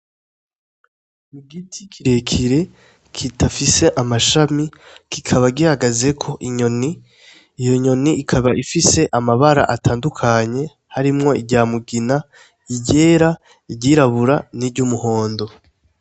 Igiti kirekire kidafise amashami kikaba gihagazeko inyoni, iyo nyoni ikaba ifise amabara atandukanye, harimwo irya mugina, iryera, iryirabura n'iryumuhondo.